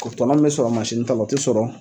O tɔnɔ min be sɔrɔ masini ta la o te sɔrɔ